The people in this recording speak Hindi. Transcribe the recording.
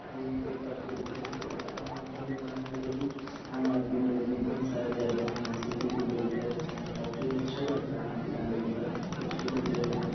काफी अच्छे से और यहाँ भीड़ -भाड़ है जो कि आम आदमी लोग भी बहुत सारे जाते है सीटी के लोग भी जाते है काफी अच्छा लगता है यहाँ पे जाने के बाद खूबसूरत जगह हैं।